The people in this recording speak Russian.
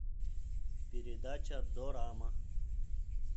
передача дорама